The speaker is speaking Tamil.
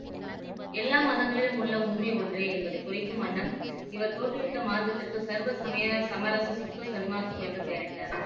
எல்லா மதங்களிலும் உள்ள உண்மை ஒன்றே என்பதை குறிக்கும் வண்ணம் இவர் தோற்றுவித்த மார்க்கத்திற்கு சர்வ சமய சமரச சுத்த சன்மார்க்கம் என்று பெயரிட்டார்